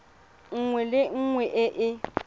nngwe le nngwe e e